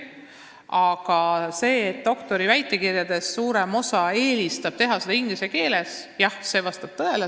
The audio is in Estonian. Aga see, et doktoriväitekirja eelistab suurem osa teha inglise keeles, jah, vastab tõele.